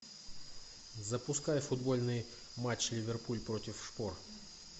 запускай футбольный матч ливерпуль против шпор